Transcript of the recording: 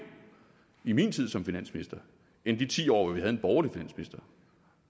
i min tid som finansminister end i de ti år hvor vi havde en borgerlig finansminister